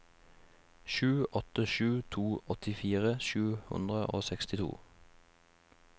sju åtte sju to åttifire sju hundre og sekstito